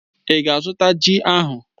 Í ga-azụta ji ahụ?